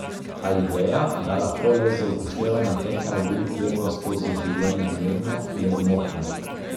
A ideja, da lahko le z upoštevanjem teh navodil plujemo skozi življenje mirno, je zmotna.